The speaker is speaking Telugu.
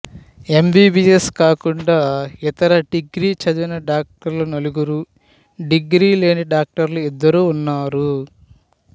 ఎమ్బీబీయెస్ కాకుండా ఇతర డిగ్రీ చదివిన డాక్టర్లు నలుగురు డిగ్రీ లేని డాక్టర్లు ఇద్దరు ఉన్నారు